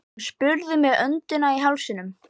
Hann spurði með öndina í hálsinum.